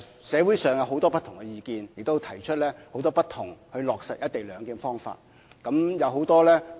社會上有很多不同的意見，亦提出很多不同落實"一地兩檢"的方法。